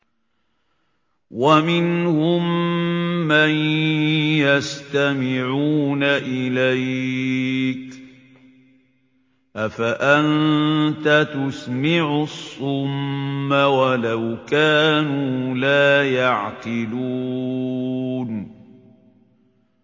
وَمِنْهُم مَّن يَسْتَمِعُونَ إِلَيْكَ ۚ أَفَأَنتَ تُسْمِعُ الصُّمَّ وَلَوْ كَانُوا لَا يَعْقِلُونَ